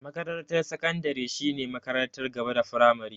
Makarantar sakandare shine makarantar gaba da firamare.